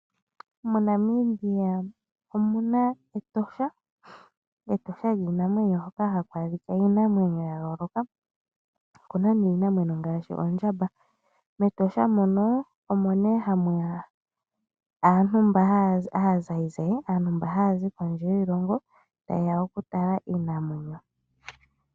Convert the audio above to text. MoNamibia omu na Etosha hoka haku adhika iinamwenyo ya yooloka ngaashi oondjamba. MEtosha omo nee ha mu ya aazayizayi (aantu mba ha ya zi kondje yiilongo) ta ye ya oku tala iinamwenyo.